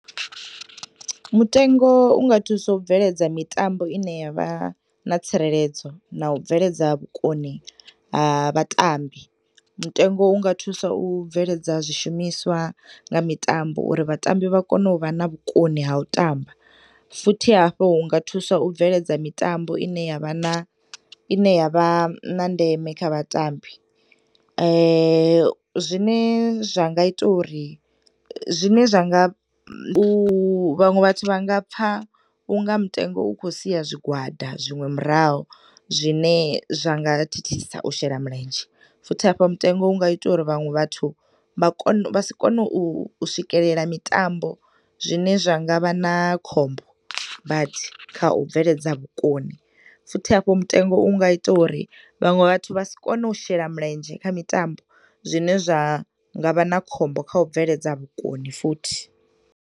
Mutengo unga thusa u bveledza mitambo ine yavha na tsireledzo na ubveledza vhukoni ha vhatambi, Mutengo unga thusa u bveledza zwishumiswa na mitambo uri vhatambi vha vhe na vhukoni ha utamba futhi hafhu hunga thusa u bveledza mitambo ine yavhana ine yavha na ndeme kha vhatambi. Zwine zwanga ita uri zwine zwanga vhaṅwe vhathu vhangapfa unga mutengo ukhosiya zwigwada zwiṅwe murahu zwune zwanga thithisa u shela mulendzhe, futhi hafhu mutengo unga ita uri vhaṅwe vhathu vhakond vha si kone uswikelela mitambo zwine zwangsvha na khombo badi kha ubveledza vhukoni futhi hafho mutemgo unga ita uri vhaṅwe vhathu vhasikone u shela mulendzhe kha mitambo zwine zwa ngavha na khombo kha u bveledza vhukoni futhi.